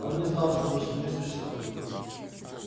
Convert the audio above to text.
он не знал что внешний мир существует